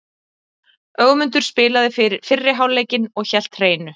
Ögmundur spilaði fyrri hálfleikinn og hélt hreinu.